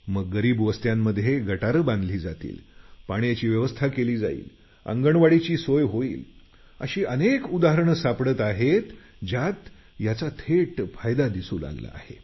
आता गरीब वस्त्यांमध्ये गटार बांधल्या जातील पाण्याची व्यवस्था केली जाईल अंगणवाडीची सोय होईल अशी अनेक उदाहरणे सापडत आहेत ज्यात थेट फायदा दिसू लागला आहे